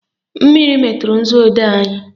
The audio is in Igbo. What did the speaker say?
Mmiri meturu nzuodee anyị